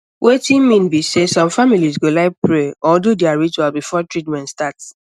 wetin mean be sey some families go like pray or do their ritual before treatment start